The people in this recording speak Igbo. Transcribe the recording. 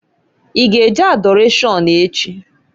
I g' e je Adọrashọn echi?